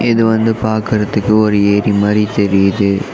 இது வந்து பாக்றதுக்கு ஒரு ஏரி மாறி தெரியுது.